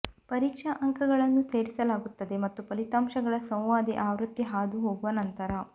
ಪರೀಕ್ಷಾ ಅಂಕಗಳನ್ನು ಸೇರಿಸಲಾಗುತ್ತದೆ ಮತ್ತು ಫಲಿತಾಂಶಗಳ ಸಂವಾದಿ ಆವೃತ್ತಿ ಹಾದುಹೋಗುವ ನಂತರ